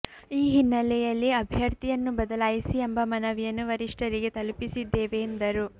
ಈ ಹಿನ್ನೆಲೆಯಲ್ಲಿ ಅಭ್ಯರ್ಥಿಯನ್ನು ಬದಲಾಯಿಸಿ ಎಂಬ ಮನವಿಯನ್ನು ವರಿಷ್ಠರಿಗೆ ತಲುಪಿಸಿದ್ದೇವೆ ಎಂದರು